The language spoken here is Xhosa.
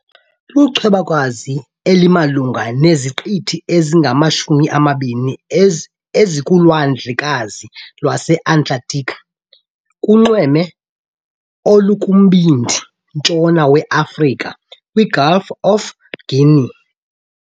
Lichwebakazi elimalunga neziqithi ezingama-20 ezikuLwandlekazi lweAtlantiki kunxweme olukumbindi-ntshona weAfrika, kwiGulf of Guinea .